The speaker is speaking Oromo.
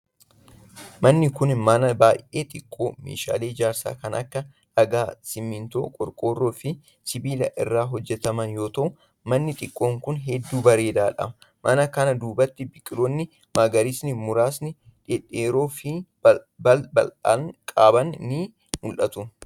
Manni kun mana baay'ee xiqqoo meeshaalee ijaarsaa kan akka:dhagaa ,simiintoo, qorqorroo fi sibiila irraa hojjatame yoo ta'u, manni xiqqoon kun hedduu bareedaa dha. Mana kana duubatti biqiloonni magariisni muraasni dhedheeroo fi baala babal'aa qaban ni mul'atu.